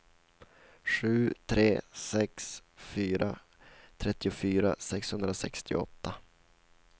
sju tre sex fyra trettiofyra sexhundrasextioåtta